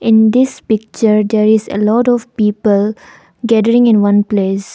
In this picture there is a lot of people gathering in one place.